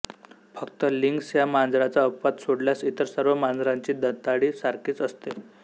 फक्त लिंक्स या मांजराचा अपवाद सोडल्यास इतर सर्व मांजरांची दंताळी सारखीच असते